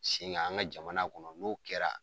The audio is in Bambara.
Senga an ka jamana kɔnɔ n'o kɛra